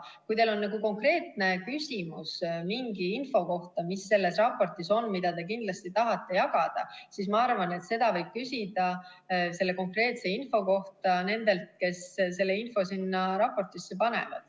Kui teil on konkreetne küsimus mingi info kohta, mis selles raportis on ja mida te kindlasti tahate jagada, siis ma arvan, et seda võib küsida konkreetselt nendelt, kes selle info sinna panevad.